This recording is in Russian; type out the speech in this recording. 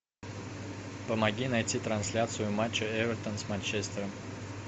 помоги найти трансляцию матча эвертон с манчестером